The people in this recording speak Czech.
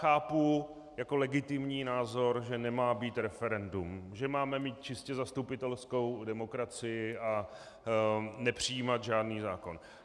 Chápu jako legitimní názor, že nemá být referendum, že máme mít čistě zastupitelskou demokracii a nepřijímat žádný zákon.